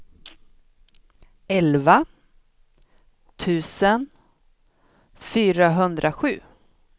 elva tusen fyrahundrasju